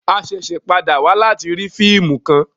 A ṣẹṣẹ pàdà wá láti rí fíìmù kán